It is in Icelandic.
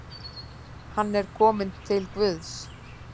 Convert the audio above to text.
Hann er kominn til Guðs.